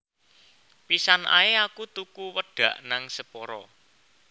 Pisan ae aku tuku wedak nang Sephora